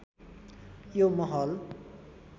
यो महल